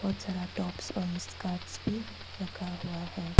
बहोत सारा टाप्स और स्कर्ट्स भी रखा हुआ है।